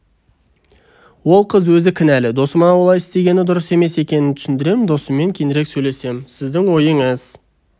ол қыз өзі кінәлі досыма олай істегені дұрыс емес екенін түсіндірем досыммен кейінірек сөйлесем сіздің ойыңыз